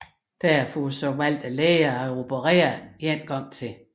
Derfor valgte lægerne at operere endnu en gang